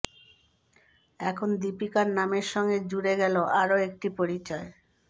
এখন দীপিকার নামের সঙ্গে জুড়ে গেল আরও একটা পরিচয়